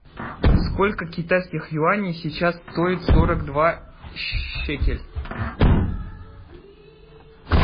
сколько китайских юаней сейчас стоит сорок два шекель